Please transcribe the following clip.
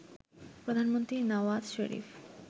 Pradhan Mantri Nawaz Sharif